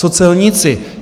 Co celníci?